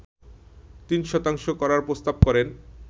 ৩ শতাংশ করার প্রস্তাব করেন